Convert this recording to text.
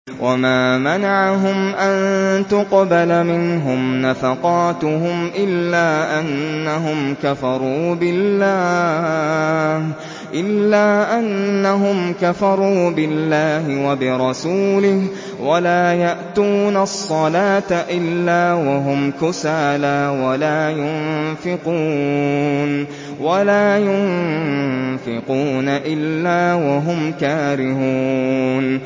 وَمَا مَنَعَهُمْ أَن تُقْبَلَ مِنْهُمْ نَفَقَاتُهُمْ إِلَّا أَنَّهُمْ كَفَرُوا بِاللَّهِ وَبِرَسُولِهِ وَلَا يَأْتُونَ الصَّلَاةَ إِلَّا وَهُمْ كُسَالَىٰ وَلَا يُنفِقُونَ إِلَّا وَهُمْ كَارِهُونَ